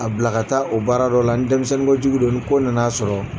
A bila ka taa o baara dɔ la ni denmisɛnninkojugu do ni ko nana sɔrɔ